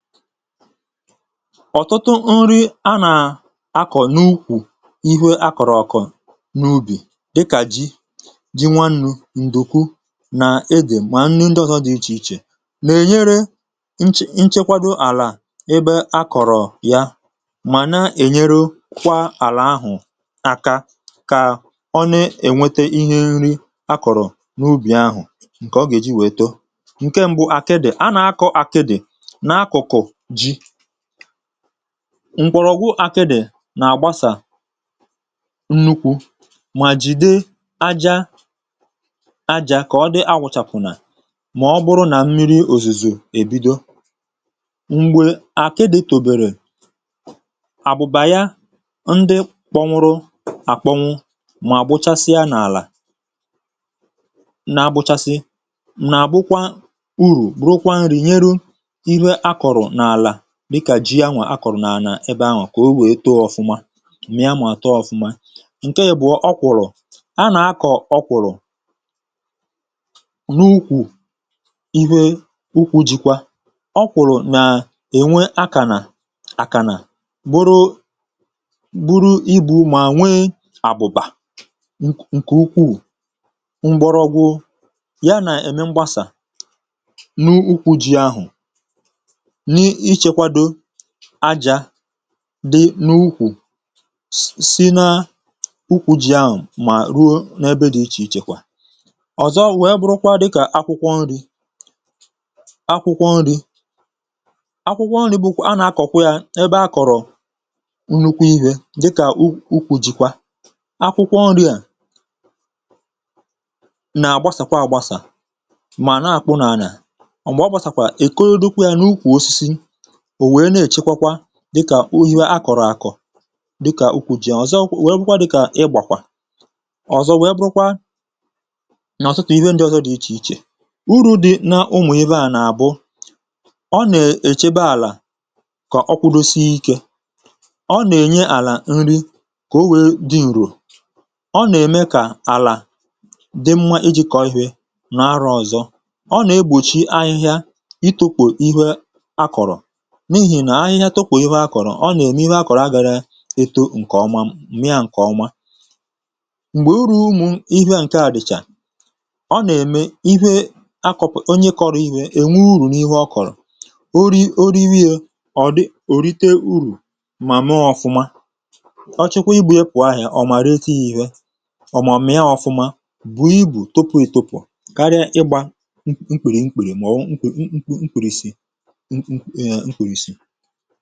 Ọ́tụtụ nri anà akọ̀ n’ukwù ihu akọ̀rọ̀ ọ̀kọ̀ n’ubì dịkà ji, ji nwannu̇, ǹdùkwu nà edè, mà nri ndị ọ̀tọ dị̀ ichè ichè nà-ènyere nchẹ nchẹkwado àlà ebe akọ̀rọ̀ ya màna ènyere kwa àlà ahụ̀ aka kà ọ nà-ènwete ihe nri akọ̀rọ̀ n’ubì ahụ̀ ǹkè ọ gà-èji wèe too. Ṅke mbụ àke dị̀, anà akọ̇ àke dị̀ na akụkụ jị, ǹkwọ̀rọ̀gwụ àkịdị̀ nà-àgbasà nnukwu̇ mà jìdee aja aja kà ọ dị̇ agwụ̇chàpụ̀nà mà ọ bụrụ nà mmiri òzìzò èbido, m̀gbè àkịdị̀ tòbèrè àbụ̀bàya ndị kpọnwụrụ àkpọnwụ mà gbochasia n’àlà, na-agbụchasị nà abụkwa urù bụrụkwa ǹrìnyerụ ịhe akọrọ na ala dịkà jị yanwà akọ̀rọ̀ n’ànà ebe ahụ̀ kà o wee too ọfụma, mị ya nwà àtọ ọfụma. ǹke yȧ bụ̀ ọ kwụ̀rụ̀ a nà-akọ̀ ọ kwụ̀rụ̀ n’ukwù ihe ukwu̇jikwa. ọ kwụ̀rụ̀ nà-ènwe akà nà akà nà gburu gburu ibu̇ mà nwee àbụ̀bà ǹkè ukwuù, mgbọrọgwụ ya nà-ème mgbasà n’ukwu jị ahụ̀ àjà dị n’ukwù si na ukwù ji ahụ̀ mà ruo n’ebe dị ichè ichè kwà. ọ̀zọ wèe burukwa dịkà akwụkwọ nri̇, akwụkwọ nri̇ akwụkwọ nri̇ bụ akwụkwọ nri̇ a nà-akọ̀kwa yȧ ebe akọ̀rọ̀ nnukwu ihė dịkà ukwù jìkwà, akwụkwọ nri̇à nà-àgbasàkwa àgbasà mà nà-àkpụ n’anà àgbà ọ gbàsàkwà è kodo dukwu yȧ n’ukwù osisi ò wèe na-èchekwa kwa dịkà ohihe a kọ̀rọ̀ akọ̀ dịkà ukwu̇ ji à, ọ̀zọ wee bụkwa dịkà ịgbàkwà, ọ̀zọ wee bụrụkwa nà ọ̀tụtụ ihe ndị ọtọ dị̇ ichè ichè. uru̇ dị̇ na ụmụ̀ ihe à nà àbụ, ọ nè-èchebe àlà kà ọkụdosi ikė, ọ nèye àlà nri kà o wèe dị ǹrò, ọ nème kà àlà dị mma iji̇ kọ̀ọ ihė nà arụ̇ ọ̀zọ, ọ nà-egbòchi ahịhịa itukwò ihe a kọ̀rọ̀ n’ihì nà ahịhịa tupù ịhe akọ̀rọ̀, ọ nà-ème ịhe akọ̀rọ̀ a gàrà etȯ ǹkè ọma m̀mịa ǹkè ọma. m̀gbè uru̇ umu̇ ịhe à ǹke a dị̀chà ọ nà-ème ịhe akọ̀pụ̀ onye kọrọ̀ ịhe, ènwe urù n’ịhe ọ kọ̀rọ̀, ori oriwiė ọ̀ di òrite urù mà nọọ ọ̀fụma, ọ chụkwa ibù ya pùahịa ọ̀ mà ree tụ ihe ọ̀ màọ̀mìa ọ̀fụma bù ịbu̇ tupu ịtupù karịa ịgbȧ ǹgwaǹgwa òlìsì.